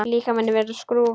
Líkami minn verður skrúfa.